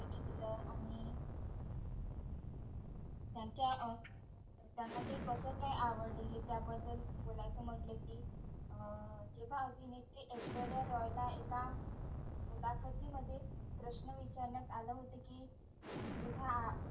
त्यांचा अह त्यांना ते कस काय आवडले त्याबद्दल बोलायचं म्हटलं कि अं जेव्हा अभिनेत्री ऐश्वर्या रॉय ला एका मुलाखती मध्ये प्रश्न विचारण्यात आलं होत कि अं तुझ्या